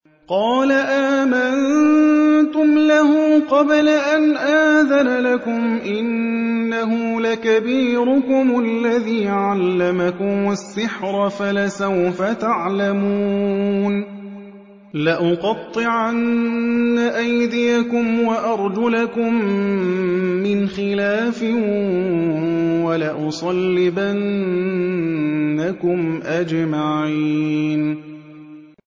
قَالَ آمَنتُمْ لَهُ قَبْلَ أَنْ آذَنَ لَكُمْ ۖ إِنَّهُ لَكَبِيرُكُمُ الَّذِي عَلَّمَكُمُ السِّحْرَ فَلَسَوْفَ تَعْلَمُونَ ۚ لَأُقَطِّعَنَّ أَيْدِيَكُمْ وَأَرْجُلَكُم مِّنْ خِلَافٍ وَلَأُصَلِّبَنَّكُمْ أَجْمَعِينَ